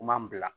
Kuman bila